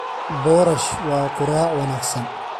Boorash waa quraac wanaagsan.